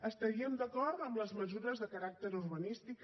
estaríem d’acord en les mesures de caràcter urbanístic